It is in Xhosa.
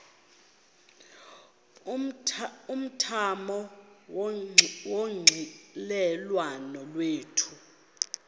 umthamo wonxielelwano lwethu